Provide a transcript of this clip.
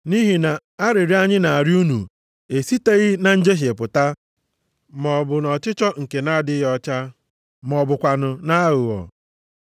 Nʼihi na arịrịọ anyị na-arịọ unu esiteghị na njehie pụta maọbụ nʼọchịchọ nke na-adịghị ọcha ma ọ bụkwanụ nʼaghụghọ.